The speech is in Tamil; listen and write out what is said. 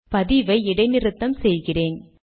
பதிவை இடை நிறுத்தம் செய்கிறேன்